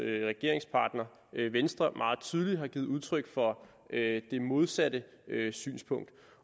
regeringspartner venstre meget tydeligt har givet udtryk for det modsatte synspunkt